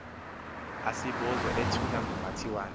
asibozo ethunywa ngumatiwana